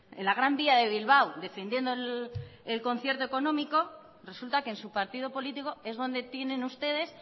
en la gran vía de bilbao defendiendo el concierto económico resulta que en su partido político es donde tienen ustedes